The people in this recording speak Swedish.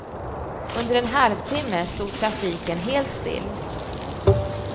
Under en halvtimme stod trafiken helt still.